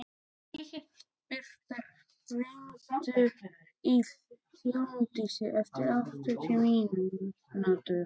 Birta, hringdu í Hólmdísi eftir áttatíu mínútur.